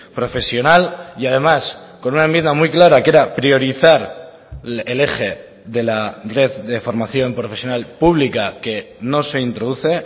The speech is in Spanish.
profesional y además con una enmienda muy clara que era priorizar el eje de la red de formación profesional pública que no se introduce